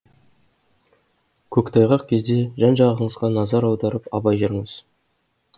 көктайғақ кезде жан жағыңызға назар аударып абай жүріңіз